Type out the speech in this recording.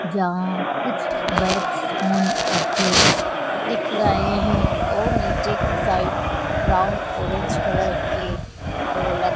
जहां कुछ bags phone रखे दिख रहे है और नीचे की साइड ब्राऊन ऑरेंज कलर की ढोलक--